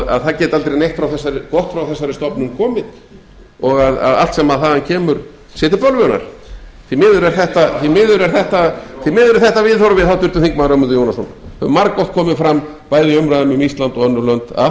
að það geti aldrei neitt gott frá þessari stofnun komið og allt sem þaðan kemur sé til bölvunar því miður er þetta viðhorfið háttvirtur þingmaður ögmundur jónasson það hefur margoft komið fram bæði í umræðunni um ísland og önnur lönd að allt